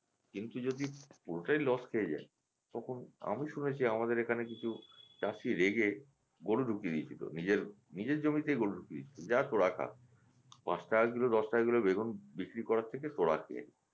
কিন্তু যদি কোটে loss খেয়ে যায় তখন আমি শুনেছি আমাদের এখানে কিছু চাষি রেগে গরু ঢুকিয়ে দিয়েছিলো নিজের নিজের জমিতেই গরু ঢুকিয়ে দিয়েছিলো যা তো খা পাঁচ টাকা কিলো দশ টাকা কিলো বেগুন বিক্রি করার থেকে তোরা খেয়ে নে